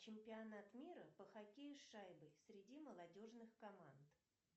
чемпионат мира по хоккею с шайбой среди молодежных команд